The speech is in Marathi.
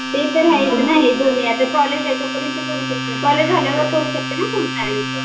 ते तर आहेच ना हे आता कॉलेज आहे तोपर्यंत करू शकते कॉलेज झाल्यावर करू शकते ना फुल टाईम